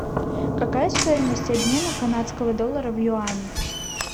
какая стоимость обмена канадского доллара в юани